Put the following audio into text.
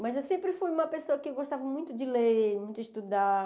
Mas eu sempre fui uma pessoa que gostava muito de ler, muito de estudar.